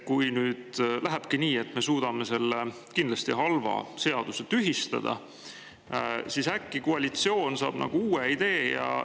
Kui nüüd lähebki nii, et me suudame selle kindlasti halva seaduse tühistada, siis äkki koalitsioon saab uue idee.